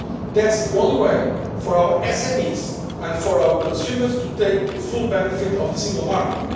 This is the only way for our SMEs and for our consumers to enjoy the full benefit of the single market.